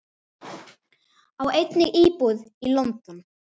Á einnig íbúð í London.